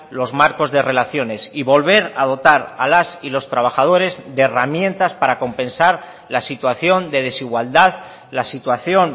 los marcos de relaciones y volver a dotar a las y los trabajadores de herramientas para compensar la situación de desigualdad la situación